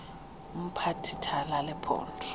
ngumphathi thala lephondo